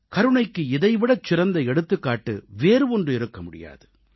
கருணைக்கு இதைவிடச் சிறந்த எடுத்துக்காட்டு வேறு ஒன்று இருக்க முடியாது